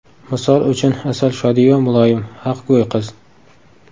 Misol uchun Asal Shodiyeva muloyim, haqgo‘y qiz.